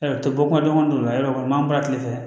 bɔ kuma dɔn yɔrɔ kɔni n b'an bila kile fɛ